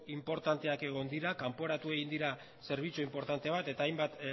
inportanteak egon dira kanporatu egin dira zerbitzu inportante bat eta hainbat